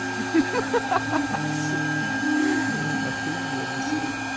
сука ахуенный совет